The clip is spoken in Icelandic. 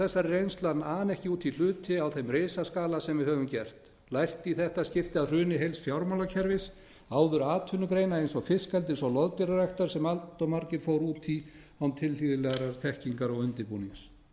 þessari reynslu að ana ekki út í hluti á þeim risaskala sem við höfum gert lært í þetta skipti af hruni heils fjármálakerfis áður atvinnugreina eins og fiskeldis og loðdýraræktar sem allt of margir fóru út í án tilhlýðilegrar þekkingar og undirbúnings það